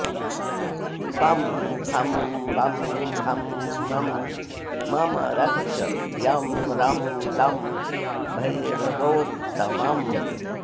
पं फं बं भं मं ममरक्ष यं रं लं भैरवोत्तमम्